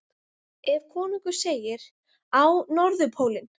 Ef konungur segir: Á Norðurpólinn!